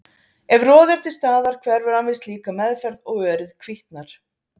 Ef roði er til staðar hverfur hann við slíka meðferð og örið hvítnar.